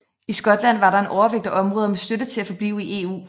I Skotland var der en overvægt af områder med støtte til at forblive i EU